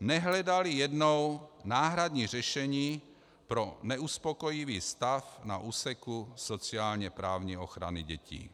nehledali jednou náhradní řešení pro neuspokojivý stav na úseku sociálně-právní ochrany dětí.